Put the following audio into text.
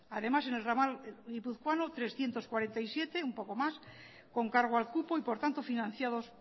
además en el ramal guipuzcoano trescientos cuarenta y siete un poco más con cargo al cupo y por tanto financiados